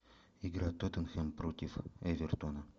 игра тоттенхэм против эвертона